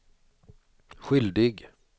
skyldig